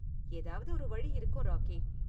ஏதாவது ஒரு வழி இருக்கும், ராக்கி.